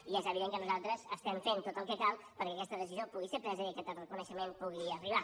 i és evident que nosaltres estem fent tot el que cal perquè aquesta decisió pugui ser presa i aquest reconeixement pugui arribar